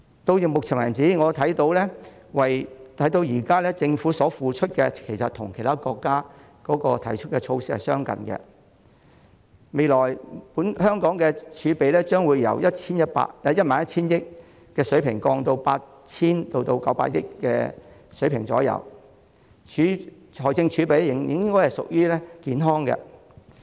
到目前為止，我看到政府推出的措施其實與其他國家相近，香港未來的儲備將由 11,000 億元的水平下降至大約 8,000 億元至 9,000 億元的水平，財政儲備應該仍處於健康狀態。